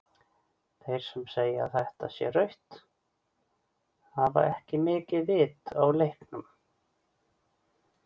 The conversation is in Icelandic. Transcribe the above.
Þeir sem segja að þetta sé rautt hafa ekki mikið vit á leiknum.